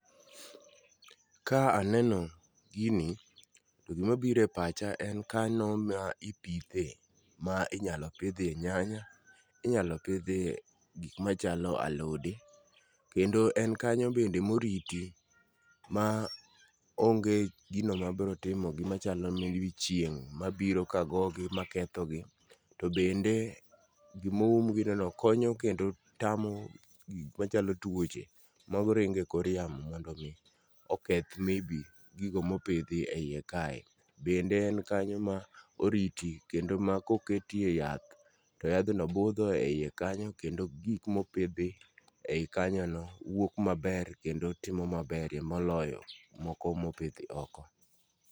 Kaa aneno gini to gima biro e pacha en kano ma ipithe ma inyalo pithe nyanya, inyalo pithie gik machalo alode kendo en kanyo bende moriti ma onge' gino ma brotimogi machalo may be chieng' mabiro ka gogi makethogi to bende gima oumgino konyo kendo tamo gik machalo tuoche maringo e kor yamo mondo mi oketh may be gigo mopithi e yie kae, bende en kanyo ma oriti kendo ma koketie yath to yathno butho e hiye kanyo kendo gik mopithi e hiye kanyono wuok maber kendo timo maberie moloyo moko mothi oko.